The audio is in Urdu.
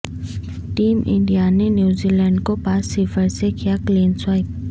ٹیم انڈیا نے نیوزی لینڈ کو پانچ صفر سے کیا کلین سوئپ